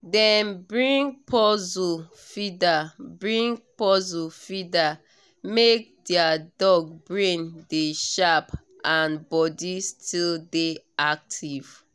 dem bring puzzle feeder bring puzzle feeder make their dog brain dey sharp and body still dey active